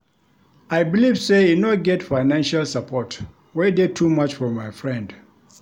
I believe sey e no get financial support wey dey too much for my friend.